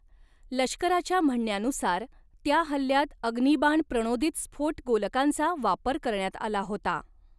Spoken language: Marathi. लष्कराच्या म्हणण्यानुसार, त्या हल्ल्यात अग्निबाण प्रणोदित स्फोट गोलकांचा वापर करण्यात आला होता.